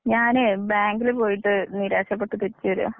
ഞാനേ ബാങ്കിൽ പോയിട്ട് നിരാശപ്പെട്ട് തിരിച്ച് വരാ.